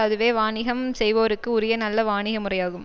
அதுவே வாணிகம் செய்வோர்க்கு உரிய நல்ல வாணிக முறையாகும்